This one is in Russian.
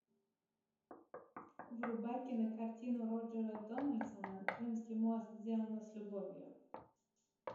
врубай кинокартину роджера дональдсона крымский мост сделано с любовью